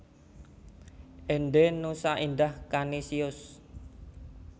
Ende Nusa Indah Kanisius